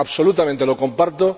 Absolutamente, lo comparto.